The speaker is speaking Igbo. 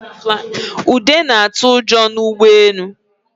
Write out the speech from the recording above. Ude na-atụ ụjọ n'ụgbọelu